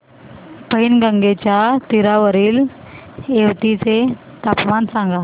पैनगंगेच्या तीरावरील येवती चे तापमान सांगा